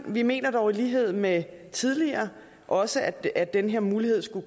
vi mener dog i lighed med tidligere også at at den her mulighed skal